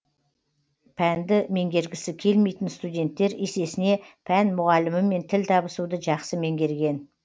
пәнді меңгергісі келмейтін студенттер есесіне пән мұғалімімен тіл табысуды жақсы меңгерген